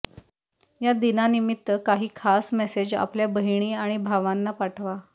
या दिनानिमित्त काही खास मेसेज आपल्या बहिणी आणि भावांना पाठवा